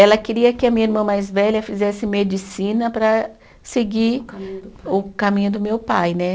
Ela queria que a minha irmã mais velha fizesse medicina para seguir. O caminho do pai. O caminho do meu pai, né?